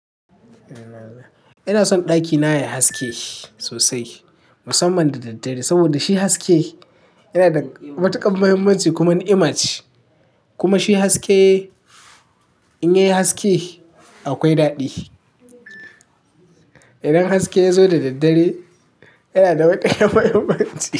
Ina son ɗakina ya haske sosai musamman da daddare saboda shi haske yana da matukar muhimmanci kuma ni'ima ce kuma shi haske in yayi haske akwai daɗi. Idan haske ya zo da daddare yana da matukar mahimmanci.